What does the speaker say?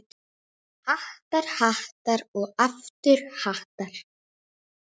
Hattar, hattar og aftur hattar.